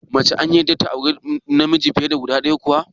Mace an yarda ta auri fiye da namiji guda ɗaya kuwa?